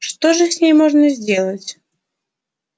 что же с ней можно сделать